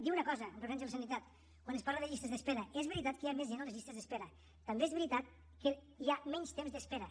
dir una cosa amb referència a la sanitat quan es parla de llistes d’espera és veritat que hi ha més gent a les llistes d’espera també és veritat que hi ha menys temps d’espera